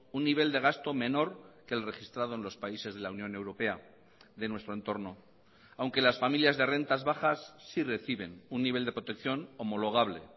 un nivel de gasto menor que el registrado en los países de la unión europea de nuestro entorno aunque las familias de rentas bajas sí reciben un nivel de protección homologable